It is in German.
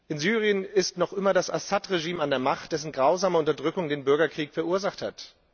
In Syrien ist noch immer das Assad Regime an der Macht, dessen grausame Unterdrückung den Bürgerkrieg verursacht hat.